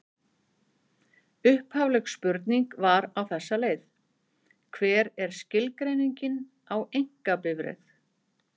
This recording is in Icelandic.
Upphafleg spurning var á þessa leið: Hver er skilgreiningin á einkabifreið?